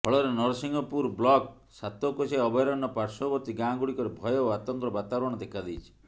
ଫଳରେ ନରସିଂହପୁର ବ୍ଲକ୍ ସାତକୋଶିଆ ଅଭୟାରଣ୍ୟ ପାଶ୍ବବର୍ତ୍ତୀ ଗାଁଗୁଡିକରେ ଭୟ ଓ ଆତଙ୍କର ବାତାବରଣ ଦେଖାଦେଇଛି